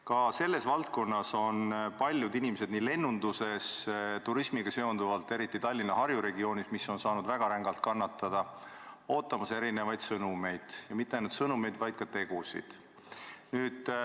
Ka selles valdkonnas on paljud inimesed, nii lennunduses kui ka turismiga seonduvalt, eriti Tallinna-Harju regioonis, mis on saanud väga rängalt kannatada, ootamas erinevaid sõnumeid ja mitte ainult sõnumeid, vaid ka tegusid.